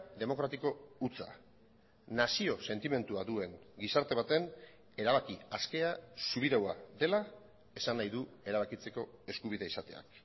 demokratiko hutsa nazio sentimendua duen gizarte baten erabaki askea subiraua dela esan nahi du erabakitzeko eskubidea izateak